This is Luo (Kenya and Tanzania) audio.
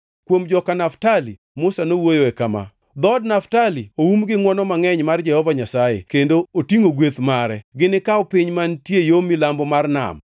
Kuom joka Naftali, Musa nowuoyoe kama: “Dhood Naftali oum gi ngʼwono mangʼeny mar Jehova Nyasaye kendo otingʼo gweth mare, ginikaw piny mantie yo milambo mar nam.”